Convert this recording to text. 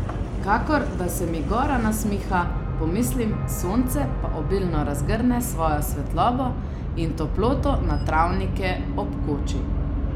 Kakor da se mi gora nasmiha, pomislim, sonce pa obilno razgrne svojo svetlobo in toploto na travnike ob koči.